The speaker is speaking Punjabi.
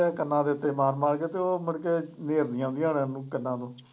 ਕੰਨਾਂ ਦੇ ਉੱਤੇ ਮਾਰ ਮਾਰ ਕੇ ਤੇ ਉਹ ਮੁੜ ਕੇ ਨੇਰਣੀਆਂ ਆਉਦੀਆਂ ਰਹਿੰਦੀਆ ਕੰਨਾਂ ਨੂੰ।